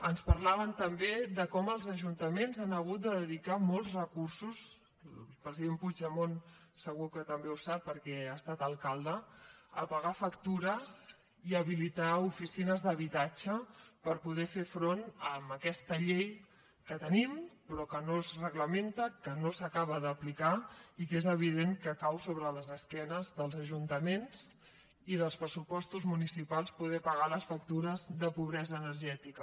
ens parlaven també de com els ajuntaments han hagut de dedicar molts recursos el president puigdemont segur que també ho sap perquè ha estat alcalde a pagar factures i a habilitar oficines d’habitatge per poder fer front a aquesta llei que tenim però que no es reglamenta que no s’acaba d’aplicar i que és evident que cau sobre les esquenes dels ajuntaments i dels pressupostos municipals el fet de poder pagar les factures de pobresa energètica